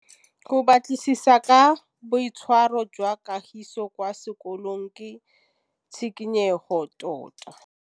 Go batlisisa ka boitshwaro jwa Kagiso kwa sekolong ke tshikinyêgô tota.